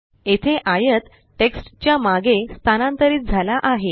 येथे आयत टेक्स्ट च्या मागे स्थानांतरित झाला आहे